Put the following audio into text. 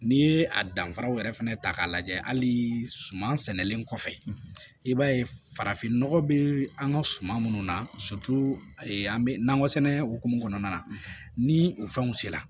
N'i ye a danfaraw yɛrɛ fana ta k'a lajɛ hali suman sɛnɛlen kɔfɛ i b'a ye farafin nɔgɔ bɛ an ka suman minnu na an bɛ nakɔ sɛnɛ hokumu kɔnɔna na ni o fɛnw sera